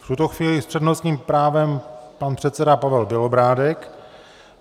V tuto chvíli s přednostním právem pan předseda Pavel Bělobrádek.